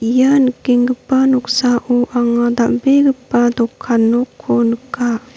ia nikenggipa noksao anga dal·begipa dokan nokko nika.